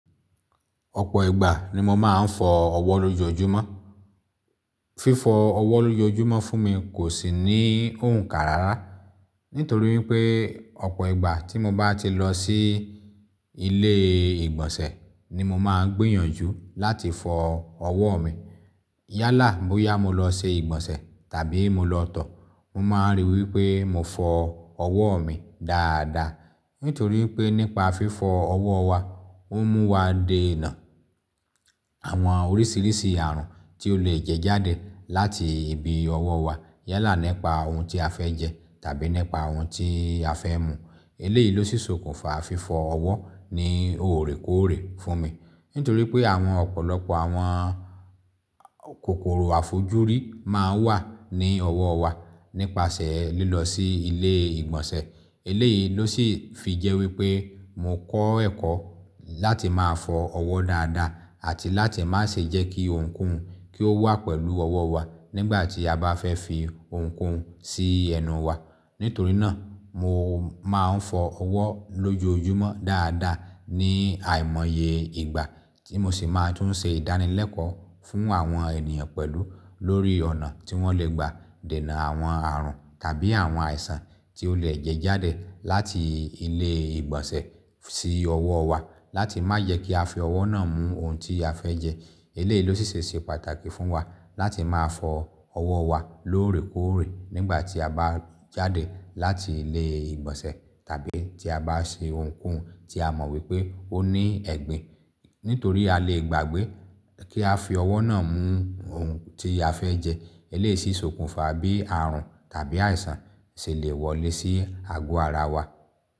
Ọ̀pọ̀ ìgbà ni mo máa ń fọ ọwọ́ lójoojúmọ́. Fífọ ọwọ́ lójoojúmọ́ fún mi kò sí ní òǹkà rárá. Nítorí wípé, ọ̀pọ̀ ìgbà tí mo bá ti lọ sí ilé ìgbọ̀nsẹ̀ ni mo máa ń gbìyànjú láti fọ ọwọ́ mi. Yálà bóyá mo lọ ṣe ìgbọ̀nsẹ̀ tàbí mo lọ tọ̀, mo máa ríi wípé mo fọ ọwọ́ mi dáadáa. Nítorí wípé nípa fífọ ọwọ́ wa, ó mú wa dènà àwọn oríṣiríṣi àrùn tí ó lè jẹjáde láti ibi ọwọ́ wa. Yálà népa ohun tí a fẹ́ jẹ tàbí népa ohun tí a fẹ́ mu. Eléyìí ló sì sokùnfà fífo ọwọ́ ní oorekoore fún mi. Nítorí pé àwọn ọ̀pọ̀lọpọ̀ àwọn kòkòrò àfojúrí máa ń wà ní ọwọ́ wa nípasẹ̀ lílọ sí ilé ìgbọ̀nsẹ̀. Eléyìí ló sì fi jẹ́ wípé mo kọ́ ẹ̀kọ́ láti máa fọ ọwọ́ dáadáa àti láti má ṣe jẹ́ kí ohunkóhun kí ó wà pẹ̀lú ọwọ́ wa nígbà tí a bá fẹ́ fi ohunkóhun sí ẹnu wa. Nítorí náà, mo máa ń fọ ọwọ́ lójoojúmọ́ dáadáa ní àìmọye ìgbà tí mo sì máa tún ṣe ìdánilẹ́kọ̀ọ́ fún àwọn ènìyàn pẹ̀lú lórí ọ̀nà tí wọ́n lè gba dènà àwọn àrùn tàbí àwọn àìsàn tí ó lè jẹjáde láti ilé ìgbọ̀nsẹ̀ sí ọwọ́ wa láti má yẹ kí a fi ọwọ́ náà mú ohun tí a fẹ́ jẹ. Eléyìí ló sì ṣe pàtàkì fún wa láti máa fọ ọwọ́ wa lóorekoore nígbà tí a bá jáde láti ilé ìgbọ̀nsẹ̀ tàbí tí a bá ṣe ohunkóhun tí a mọ̀ wípé ó ní ẹ̀gbin. Nítorí a lè gbàgbé kí á fi ọwọ́ náà mú ohun tí a fẹ́ jẹ, eléyìí sì sokùnfà bí àrùn tàbí àìsàn ṣe lè wọlé sí àgọ́ ara wa.